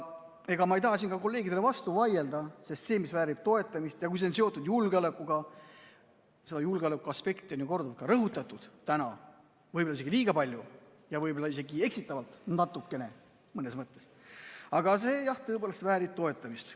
Ega ma ei taha siin kolleegidele vastu vaielda, sest see, mis on seotud julgeolekuga – seda julgeolekuaspekti on ju korduvalt rõhutatud täna, võib-olla isegi liiga palju ja võib-olla isegi eksitavalt natukene, mõnes mõttes –, väärib tõepoolest toetamist.